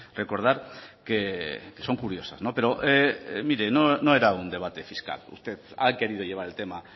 recordar que son curiosas pero mire no era un debate fiscal usted ha querido llevar el tema